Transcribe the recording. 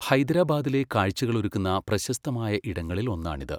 ഹൈദരാബാദിലെ കാഴ്ചകളൊരുക്കുന്ന പ്രശസ്തമായ ഇടങ്ങളിൽ ഒന്നാണിത്.